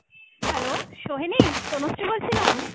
hello, Sohini? Tanushree বলছিলাম।